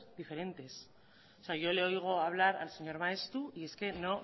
diferentes yo le oigo hablar al señor maeztu y es que no